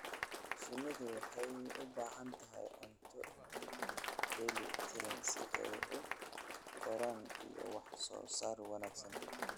Shinnidu waxay u baahan tahay cunto dheeli tiran si ay u koraan iyo wax soo saar wanaagsan.